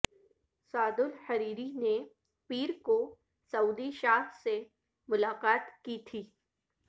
سعد al Hariri نے پیر کو سعودی شاہ سے ملاقات کی تھی